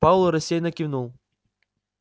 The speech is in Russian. пауэлл рассеянно кивнул